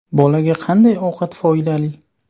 Bolaga qanday ovqat foydali?